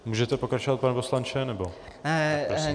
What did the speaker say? Můžete pokračovat, pane poslanče, nebo...?